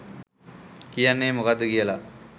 කියන්නේ මොකද්ද කියලා.